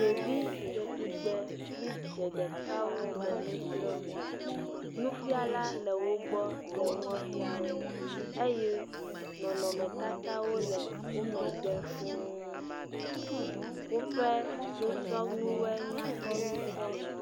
Ɖevi dze tugbe wodze ɖekawo le nu srɔm. nufiala le wo gbɔ le nua fia wɔe eye nɔnɔmetatawo le wo megbe fuu. Woƒe nusrɔ̃nuwo nyakpɔ ŋutɔ.